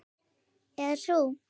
Eða sú.